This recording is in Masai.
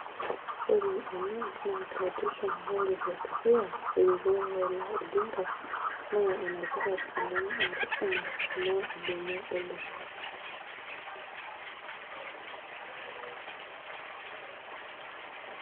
Less than 15 minutes